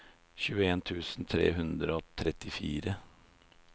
tjueen tusen tre hundre og trettifire